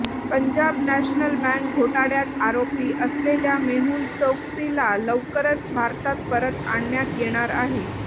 Punjab National Bank घोटाळ्यात आरोपी असलेल्या मेहुल चोकसीला लवकरच भारतात परत आणण्यात येणार आहे